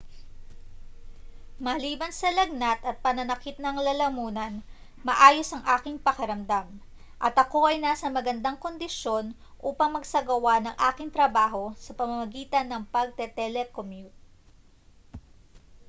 maliban sa lagnat at pananakit ng lalamunan maayos ang aking pakiramdam at ako ay nasa magandang kondisyon upang magsagawa ng aking trabaho sa pamamagitan ng pagte-telecommute